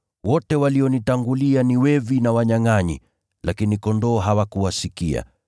Wote walionitangulia ni wevi na wanyangʼanyi, lakini kondoo hawakuwasikia.